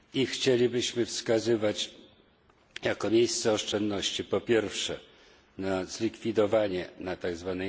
Chcielibyśmy wskazać jako miejsce oszczędności po pierwsze na zlikwidowanie tzw.